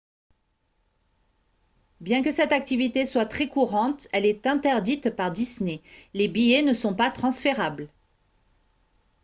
bien que cette activité soit très courante elle est interdite par disney les billets ne sont pas transférables